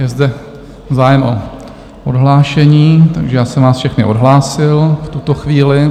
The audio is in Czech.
Je zde zájem o odhlášení, takže já jsem vás všechny odhlásil v tuto chvíli.